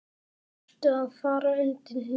Þarftu að fara undir hnífinn?